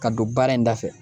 Ka don baara in da fɛ